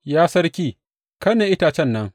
Ya sarki kai ne itacen nan!